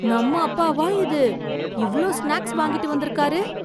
நம்ம அப்பாவா இது, இவ்ளோ ஸ்நாக்ஸ் வாங்கிட்டு வந்திருக்கார்.